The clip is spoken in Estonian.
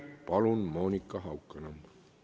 Palun, Monika Haukanõmm!